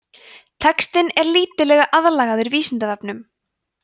textinn er lítillega aðlagaður vísindavefnum